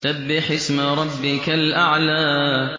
سَبِّحِ اسْمَ رَبِّكَ الْأَعْلَى